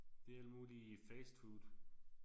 Det alt muligt fastfood